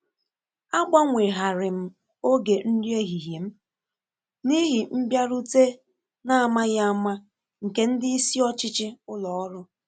A gbanweghari m ògè nri ehihie m n’ihi mbịarute n’amaghị ama nke ndị isi ọchịchị ụlọ ọrụ